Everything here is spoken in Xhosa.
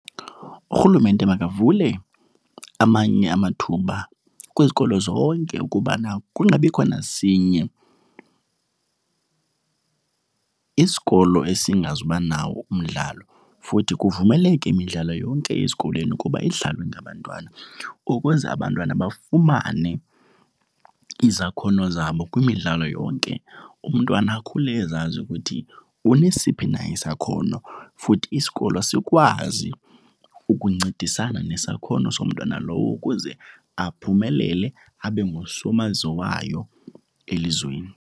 Urhulumente makavule amanye amathuba kwizikolo zonke ukubana kungabikho nasinye isikolo esingazi ubanawo umdlalo. Futhi kuvumeleke imidlalo yonke ezikolweni ukuba idlalwe ngabantwana ukuze abantwana bafumane izakhono zabo kwimidlalo yonke. Umntwana akhule ezazi ukuthi unesiphi na isakhono futhi isikolo sikwazi ukuncedisana nesakhono somntwana lowo ukuze aphumelele abe ngusomaziwayo elizweni.